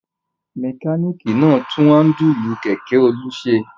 Mẹkáníkì náà tún háńdùlù kẹ̀kẹ́ Olú ṣe.